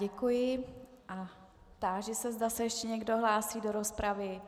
Děkuji a táži se, zda se ještě někdo hlásí do rozpravy.